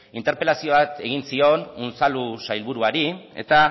interpelazio bat egin zion unzalu sailburuari eta